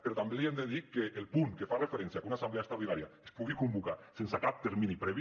però també li hem de dir que el punt que fa referència a que una assemblea extraordinària es pugui convocar sense cap termini previ